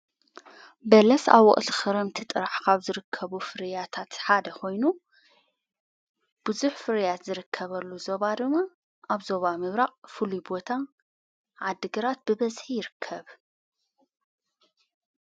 በለስ ኣውቕት ኽረምቲ ጥራሕኻብ ዝርከቡ ፍርያታት ሓደ ኾይኑ ብዙኅ ፍርያት ዝርከበሉ ዞባድመ ኣብዞባ ምብራቕ ፍሉይ ቦታ ዓድግራት ብበዝሕ ይርከብ።